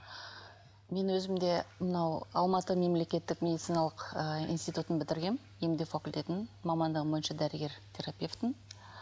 мен өзім де мынау алматы мемлекеттік медициналық ыыы институтын бітіргенмін факультетін мамандығым бойынша дәрігер терапевтпін